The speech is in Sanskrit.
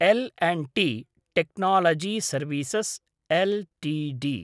L and T technology services Ltd